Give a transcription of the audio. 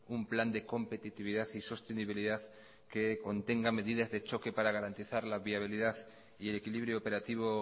un plan de competitividad y sostenibilidad que contenga medidas de choque para garantizar la viabilidad y el equilibrio operativo